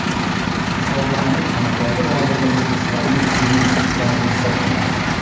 Musobaqaning amaldagi g‘olibi o‘zbekistonlik Denis Istomin hisoblanadi.